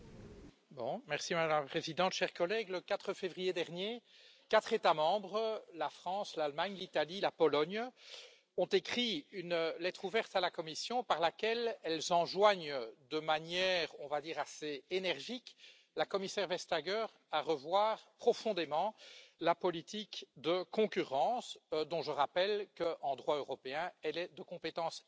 Madame la Présidente, chers collègues, le 4 février dernier, quatre États membres la France, l'Allemagne, l'Italie et la Pologne ont écrit une lettre ouverte à la Commission par laquelle ils enjoignent de manière, disons, assez énergique la commissaire Vestager à revoir profondément la politique de concurrence qui, je le rappelle, en droit européen, relève de la compétence exclusive